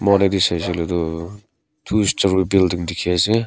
photo tae saishey koilae tu two building dikhiase.